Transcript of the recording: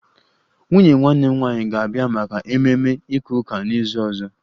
Nwunye nwanne m nwanyị ga-abịa maka ememe 'iku aka' n'izu ọzọ